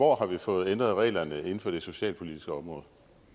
hvor har vi fået ændret reglerne inden for det socialpolitiske område